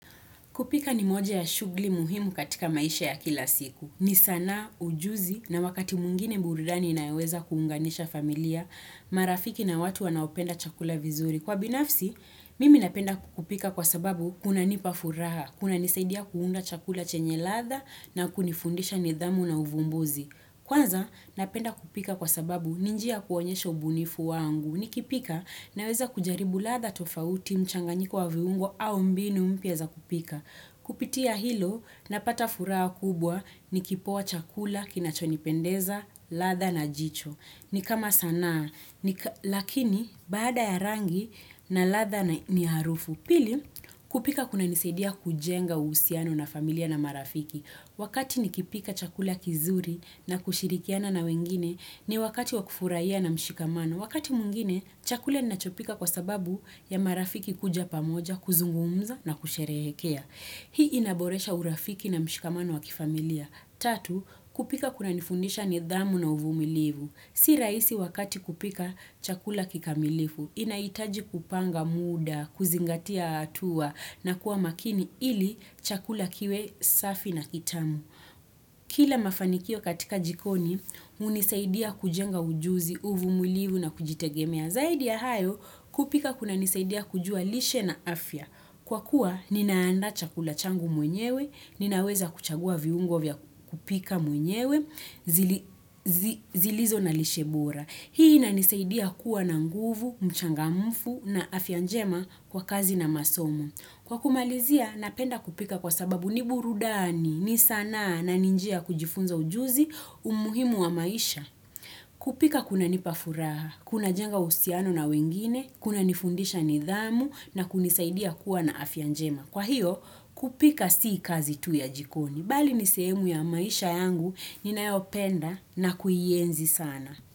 Kupika ni moja ya shugli muhimu katika maisha ya kila siku. Ni sanaa, ujuzi, na wakati mwingine burudani inayoweza kuunganisha familia, marafiki na watu wanaopenda chakula vizuri. Kwa binafsi, mimi napenda kupika kwa sababu kunanipa furaha, kuna nisaidia kuunda chakula chenye latha na kunifundisha nidhamu na uvumbuzi. Kwanza, napenda kupika kwa sababu ni njia ya kuonyesha ubunifu wangu. Nikipika naweza kujaribu latha tofauti mchanganyiko wa viungo au mbinu mpya za kupika. Kupitia hilo napata furaha kubwa ni kipoa chakula kinachonipendeza latha na jicho. Ni kama sanaa, lakini baada ya rangi na latha ni harufu. Pili kupika kunanisaidia kujenga uhusiano na familia na marafiki. Wakati nikipika chakula kizuri na kushirikiana na wengine ni wakati wa kufurahia na mshikamano. Wakati mwingine, chakula ninachopika kwa sababu ya marafiki kuja pamoja, kuzungumza na kusherehekea. Hii inaboresha urafiki na mshikamano wa kifamilia. Tatu, kupika kunanifundisha nidhamu na uvumilivu. Si rahisi wakati kupika chakula kikamilifu. Inahitaji kupanga muda, kuzingatia hatua na kuwa makini ili chakula kiwe safi na kitamu. Kila mafanikio katika jikoni hunisaidia kujenga ujuzi uvumulivu na kujitegemea zaidi ya hayo kupika kunanisaidia kujua lishe na afya. Kwa kuwa ninaandaa chakula changu mwenyewe, ninaweza kuchagua viungo vya kupika mwenyewe, zilizo na lishe bora. Hii inanisaidia kuwa na nguvu, mchangamfu na afya njema kwa kazi na masomo. Kwa kumalizia, napenda kupika kwa sababu ni burudani ni sanaa na ni njia ya kujifunza ujuzi umuhimu wa maisha. Kupika kunanipa furaha, kunajenga uhusiano na wengine, kuna nifundisha nidhamu na kunisaidia kuwa na afya njema. Kwa hiyo, kupika sii kazi tu ya jikoni. Bali ni sehemu ya maisha yangu, ninayopenda na kuienzi sana.